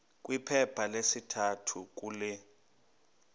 kwiphepha lesithathu kule